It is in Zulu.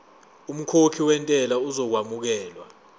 umkhokhi wentela uzokwamukelwa